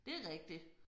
Det rigtigt